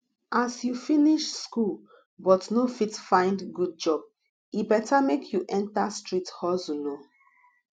as you finish school but no fit find good job e better make you enter street hustle oo